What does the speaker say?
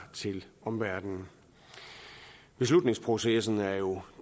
til omverdenen beslutningsprocessen ender jo